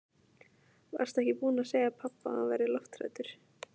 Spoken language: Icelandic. Varstu ekki búin að segja pabba að hann væri lofthræddur?